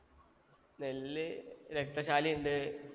നെല്ല് രക്തചാലിയുണ്ട്